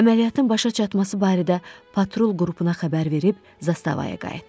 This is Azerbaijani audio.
Əməliyyatın başa çatması barədə patrul qrupuna xəbər verib zastavaya qayıtdıq.